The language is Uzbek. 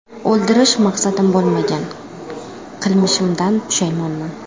O‘ldirish maqsadim bo‘lmagan, qilmishimdan pushaymonman.